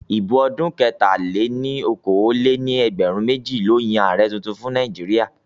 ìbò ọdún 2023 ló Yàn Ààrẹ títún fún Nàìjíríà